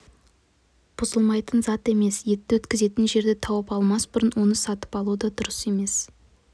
бұзылмайтын зат емес етті өткізетін жерді тауып алмас бұрын оны сатып алу да дұрыс емес